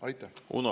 Aitäh!